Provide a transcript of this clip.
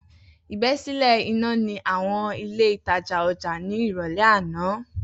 Ibesile ina ni awọn ile itaja ọja ni irọlẹ ana